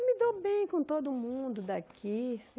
Eu me dou bem com todo mundo daqui.